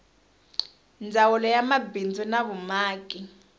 ndzawulo ya mabindzu na vumaki